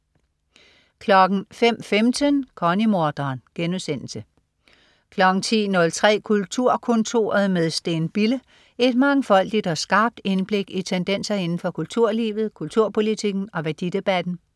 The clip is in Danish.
05.15 Connie-morderen* 10.03 Kulturkontoret med Steen Bille. Et mangfoldigt og skarpt indblik i tendenser inden for kulturlivet, kulturpolitikken og værdidebatten